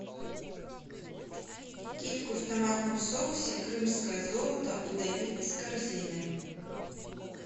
кильку в томатном соусе крымское золото удали из корзины